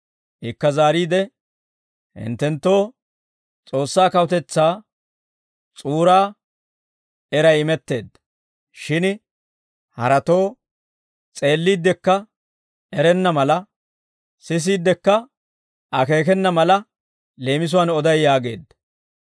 Ikka zaariide, «Hinttenttoo S'oossaa kawutetsaa s'uuraa eray imetteedda; shin haratoo, s'eelliiddikka erenna mala, sisiiddikka akeekena mala leemisuwaan oday» yaageedda.